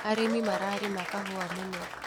Arĩmi mararima kahũa mũno.